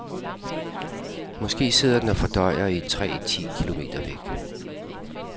Måske sidder den og fordøjer i et træ ti kilometer væk.